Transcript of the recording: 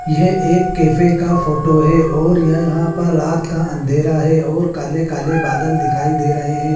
यह एक कैफे का फोटो है और यहां पर रात का अंधेरा है और काले काले बादल दिखाई दे रहे हैं।